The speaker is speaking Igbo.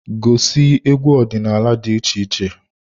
Gosi egwu ọdịnala dị iche iche.